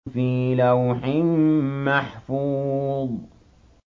فِي لَوْحٍ مَّحْفُوظٍ